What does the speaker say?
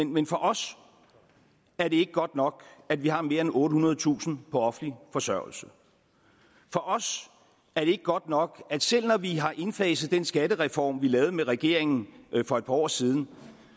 men for os er det ikke godt nok at vi har mere end ottehundredetusind på offentlig forsørgelse for os er det ikke godt nok at selv når vi har indfaset den skattereform vi lavede med regeringen for et par år siden